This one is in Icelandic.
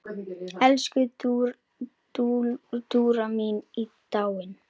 Elsku Dúra mín er dáin.